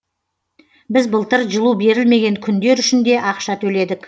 біз былтыр жылу берілмеген күндер үшін де ақша төледік